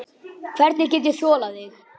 Hvernig ég get þolað þig?